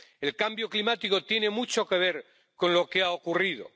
El cambio climático tiene mucho que ver con lo que ha ocurrido.